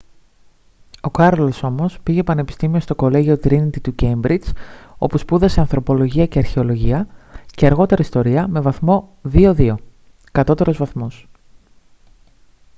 o κάρολος όμως πήγε πανεπιστήμιο στο κολλέγιο τρίνιτι του κέιμπριτζ όπου σπούδασε ανθρωπολογία και αρχαιολογία και αργότερα ιστορία με βαθμό 2:2 κατώτερος βαθμός